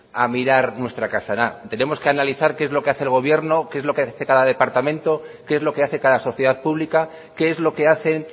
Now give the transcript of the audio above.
a mirar nuestra casa tenemos que analizar qué es lo que hace el gobierno qué es lo que hace cada departamento qué es lo que hace cada sociedad pública qué es lo que hacen